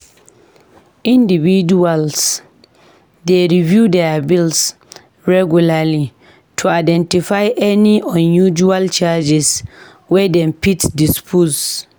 Individuals dey review their bills regularly to identify any unusual charges wey dem fit dispute.